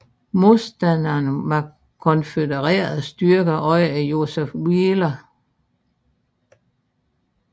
Modstanderne var konfødererede styrker under Joseph Wheeler